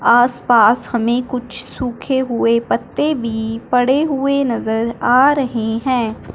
आस पास हमें कुछ सूखे हुए पत्ते भी पड़े हुए नज़र आ रहे है।